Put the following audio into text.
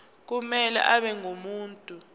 kumele abe ngumuntu